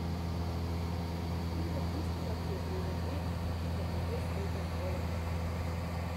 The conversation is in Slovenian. Tudi za tistega, ki je prizadet, ker ne bo sprejeta njegova rešitev.